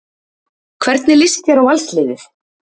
Hvernig lýst þér á Valsliðið?